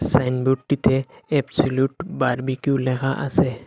Signboard টিতে absolute barbecue লেখা আছে।